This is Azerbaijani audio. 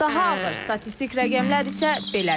Daha ağır statistik rəqəmlər isə belədir.